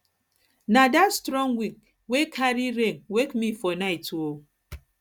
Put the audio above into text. na dat strong wind dat strong wind wey carry rain wake me for night um